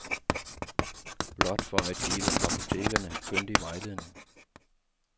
Blot for at give apotekerne kyndig vejledning.